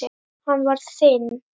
Hann var þinn.